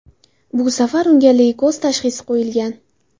Bu safar unga leykoz tashxisi qo‘yilgan.